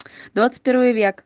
двадцать первый век